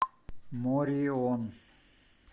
морион